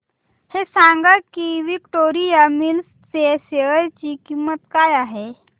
हे सांगा की विक्टोरिया मिल्स च्या शेअर ची किंमत काय आहे